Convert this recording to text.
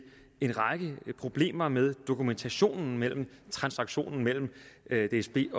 en række problemer med dokumentationen af transaktionerne mellem dsb